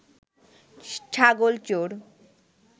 ছাগল চোর